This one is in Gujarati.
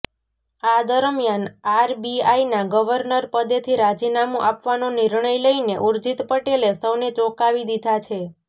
આ દરમિયાન આરબીઆઇના ગવર્નર પદેથી રાજીનામુ આપવાનો નિર્ણય લઇને ઉર્જિત પટેલે સૌને ચોંકાવી દીધા છે